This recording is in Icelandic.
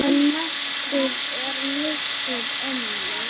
En mestur er missir ömmu.